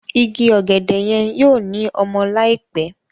Ìgi ògèdè yen yóò ní ọmọ láìpé.